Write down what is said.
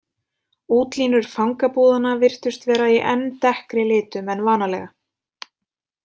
Útlínur fangabúðanna virtust vera í enn dekkri litum en vanalega.